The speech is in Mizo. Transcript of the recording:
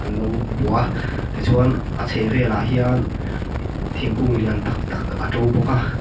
lo bua a tichuan a chheh velah hian thingkung lian tak tak a to bawk a.